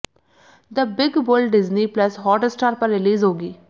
the big bull Disney plus Hotstar पर release होगी